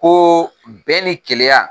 Ko bɛn ni kelenya